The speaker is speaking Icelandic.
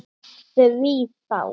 Því þá?